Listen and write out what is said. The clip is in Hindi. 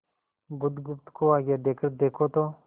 बुधगुप्त को आज्ञा देकर देखो तो